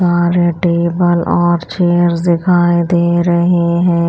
सारे टेबल और चेयर्स दिखाई दे रही हैं।